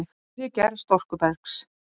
Innri gerð storkubergs